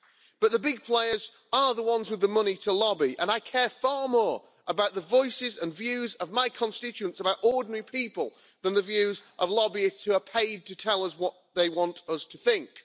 But the big players are the ones with the money to lobby and I care far more about the voices and views of my constituents, about ordinary people, than the views of lobbyists who are paid to tell us what they want us to think.